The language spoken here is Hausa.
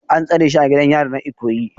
An tsare shi a gidan yari na Ikoyi